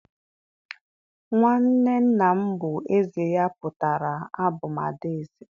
nwanne nna m bu eze, ya putara abum ada eze.